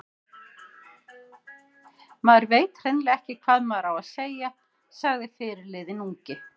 Maður veit hreinlega ekki hvað maður á að segja, sagði fyrirliðinn ungi.